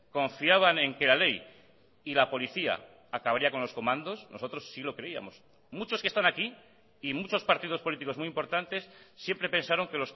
confiaban en que la ley y la policía acabaría con los comandos nosotros sí lo creíamos muchos que están aquí y muchos partidos políticos muy importantes siempre pensaron que